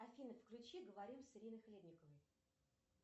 афина включи говорим с ириной хлебниковой